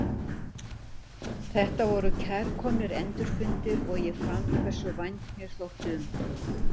Þetta voru kærkomnir endurfundir og ég fann hversu vænt mér þótti um hann.